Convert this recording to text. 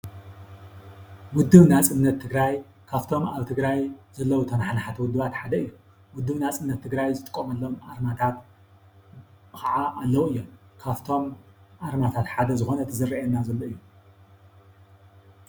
ውደብ ናፅነት ትግራይ ካብቶም ኣብ ትግራይ ዘለው ተነሓነሕቲ ውድባት ሓደ እዮ። ውድብ ናፅነት ትግራይ ዝጥቀመሎም ኣርማታት ከዓ ኣለው እዮም። ካብቶም ኣርማታት ሓደ ዝኮነ እቲ ዘረኣየና ዘሎ እዩ።